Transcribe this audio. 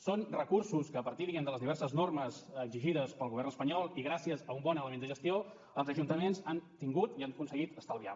són recursos que a partir diguem ne de les diverses normes exigides pel govern espanyol i gràcies a un bon element de gestió els ajuntaments han tingut i han aconseguit estalviar